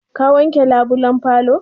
Ka wanke labulan falo?